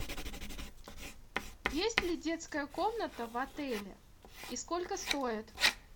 есть ли детская комната в отеле и сколько стоит